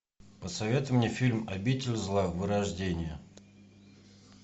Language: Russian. посоветуй мне фильм обитель зла вырождение